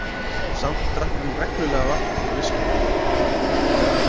Samt drakk hann reglulega vatn úr viskubrunninum.